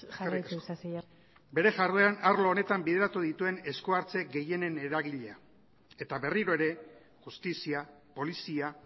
jarraitu ezazu bere jardueran arlo honetan bideratu dituen eskuhartze gehienen eragilea eta berriro ere justizia polizia